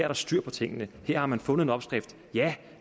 der styr på tingene her har man fundet en opskrift ja